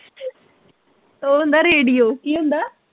ਉਹ ਹੁੰਦਾ ਰੇਡੀਓ